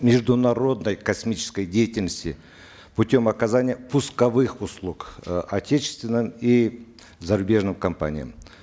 международной космической деятельности путем оказания пусковых услуг э отечественным и зарубежным компаниям